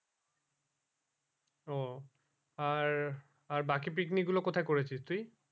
ও আর আর বাকি picnic গুলো কোথায় করেছিস তুই?